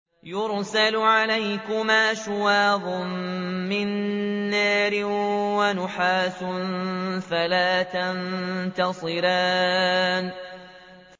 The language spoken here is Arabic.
يُرْسَلُ عَلَيْكُمَا شُوَاظٌ مِّن نَّارٍ وَنُحَاسٌ فَلَا تَنتَصِرَانِ